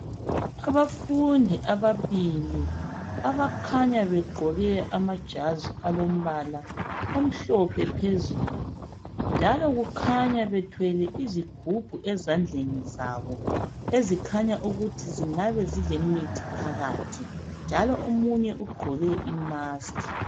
Abafundi ababili abakhanya begqoke amajazi alombala amhlophe phezulu. Njalo kukhanya bethwele izigubhu ezandleni zabo, ezikhanya ukuthi zingabe zilemithi phakathi, njalo umunye ugqoke i 'mask'.